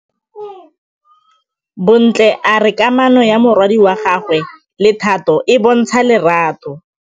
Bontle a re kamanô ya morwadi wa gagwe le Thato e bontsha lerato.